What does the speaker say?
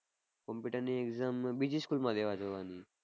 Computer ની exam બીજી school માં દેવા જવાની.